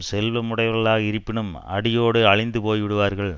செல்வமுடையவர்களாக இருப்பினும் அடியோடு அழிந்து போய் விடுவார்கள்